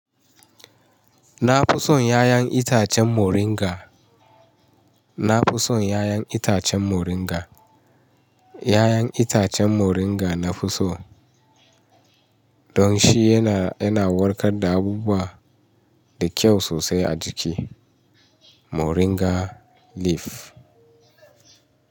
Na fi son 'ya'yan itacen Moringa. Na fi son 'ya'yan itacen Moringa. 'Ya'yan itacen Moringa nafi so. Don shi yana, yana warkar da abubuwa da kyau sosai a jiki. Moringa leaf.